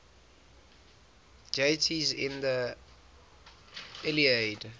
deities in the iliad